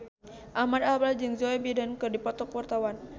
Ahmad Albar jeung Joe Biden keur dipoto ku wartawan